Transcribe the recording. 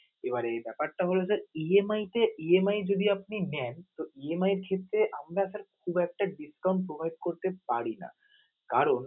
এবারে এই ব্যাপারটা হলো যে EMI তে EMI যদি আপনি নেন, তো EMI এর ক্ষেত্রে আমরা sir খুব একটা discount provide করতে পারি না কারণ